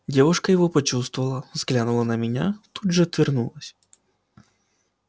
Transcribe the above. девушка его почувствовала взглянула на меня тут же отвернулась